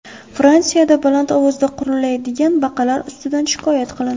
Fransiyada baland ovozda qurillaydigan baqalar ustidan shikoyat qilindi.